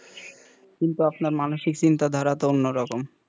কিন্তু আপনার মানুষের চিন্তা ধারার অন্য রকম,